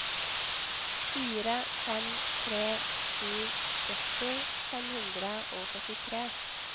fire fem tre sju sytti fem hundre og førtitre